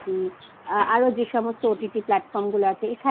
আরো যেসমস্ত OTT Platform গুলো আছে